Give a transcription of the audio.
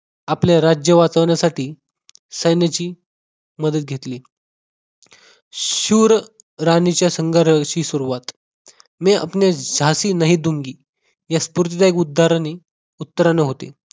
आपले राज्य वाचवण्यासाठी सैन्याची मदत घेतली. शूर राणीच्या संघर्षाची सुरुवात मै अपने जासी नही दूंगी या स्फूर्तीदायक उद्गाराने उत्तराने होते.